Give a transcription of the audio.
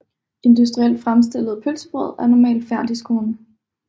Industrielt fremstillede pølsebrød er normalt færdigskårne